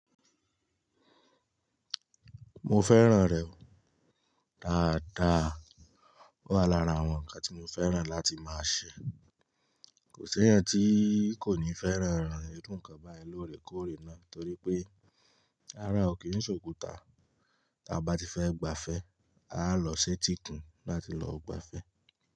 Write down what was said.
Mo fẹ́ràn rẹ̀ o dáadáa. Ó wà lára àwọn ǹkan tí mo fẹ́ràn láti máa ṣe. Kò sí ẹyan tí kò ní fẹ́ràn ìran iru ǹkan báyìí lóore kóòrè náà torí pé ará ò kì í ṣòkuta. Ta bá ti fẹ́ gbafẹ́, a á lọ sí etikún láti lọ gbafẹ́.